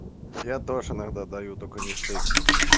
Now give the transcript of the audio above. я тоже иногда даю только не втык